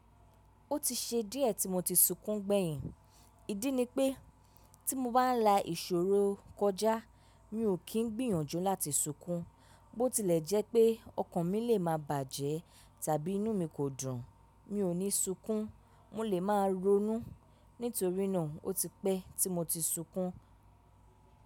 Ó ti ṣe díẹ̀ tí mo ti sunkún gbẹ̀yìn. Ídí ni pé tí mo bá la ìṣòro kọjá mi ò kí n gbìyànjú láti sunkún, bó tilẹ̀ jẹ́ pé ọkàn mi lè má bàjẹ́ tàbí inú mi kò dùn mi ò ní sunkún. Mo lè má ronú. Nítorínà ó ti pẹ́ tí mo ti sunkún.